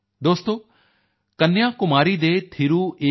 ਦੋਸਤੋ ਕੰਨਿਆ ਕੁਮਾਰੀ ਦੇ ਥਿਰੂ ਏ